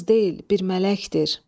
Qız deyil, bir mələkdir.